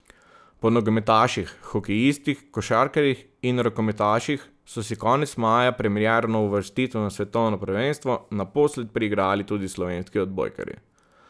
Po nogometaših, hokejistih, košarkarjih in rokometaših so si konec maja premierno uvrstitev na svetovno prvenstvo naposled priigrali tudi slovenski odbojkarji.